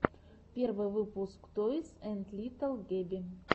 первый выпуск тойс энд литтл гэби